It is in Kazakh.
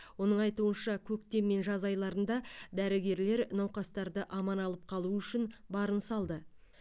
оның айтуынша көктем мен жаз айларында дәрігерлер науқастарды аман алып қалу үшін барын салды